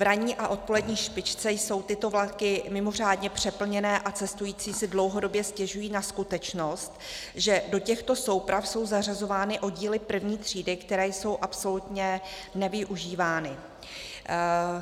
V ranní a odpolední špičce jsou tyto vlaky mimořádně přeplněné a cestující si dlouhodobě stěžují na skutečnost, že do těchto souprav jsou zařazovány oddíly první třídy, které jsou absolutně nevyužívány.